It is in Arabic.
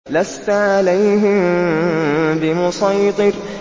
لَّسْتَ عَلَيْهِم بِمُصَيْطِرٍ